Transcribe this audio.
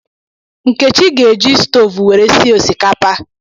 Nkechi ga-eji stovu were sie osikapa.